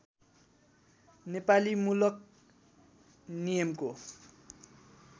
नेपाली मूलक नियमको